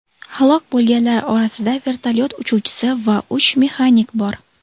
Halok bo‘lganlar orasida vertolyot uchuvchisi va uch mexanik bor.